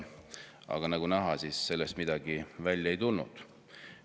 Aga nagu näha, sellest midagi välja ei tulnud.